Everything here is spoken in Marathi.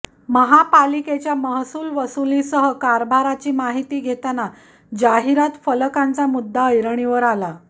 महापालिकेच्या महसूल वसुलीसह कारभाराची माहिती घेताना जाहिरात फलकांचा मुद्दा ऐरणीवर आला